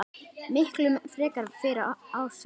Miklu frekar fyrir Ársæl.